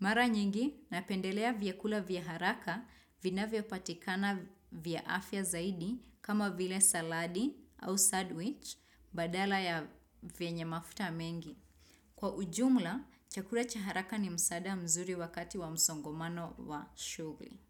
Mara nyingi, napendelea vyakula vya haraka vinavyopatikana vya afya zaidi kama vile saladi au sandwich badala ya vyenye mafuta mengi. Kwa ujumla, chakula cha haraka ni msaada mzuri wakati wa msongomano wa shugli.